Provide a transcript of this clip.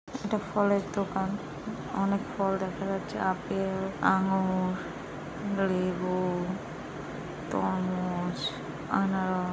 এটা ফলের দোকান ।অনেক ফল দেখা যাচ্ছে আপেল আঙ্গুর লেবু তরমুজ আনার--